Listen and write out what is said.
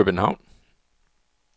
København